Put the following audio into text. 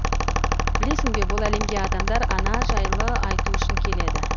білесің бе бұл әлемге адамдар ана жайлы айту үшін келеді